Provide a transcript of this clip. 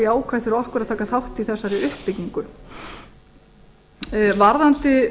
jákvætt fyrir okkur að taka þátt í þessari uppbyggingu varðandi